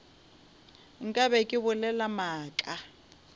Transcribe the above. nka be ke bolela maaka